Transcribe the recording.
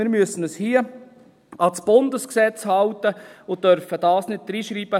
Wir müssen uns hier an das Bundesgesetz halten und dürfen das nicht hineinschreiben.